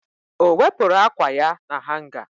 Ọ wepụrụ ákwà ya na hanga?